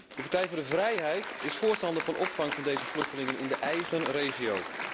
De Partij voor de Vrijheid is voorstander van opvang van deze vluchtelingen in de eigen regio.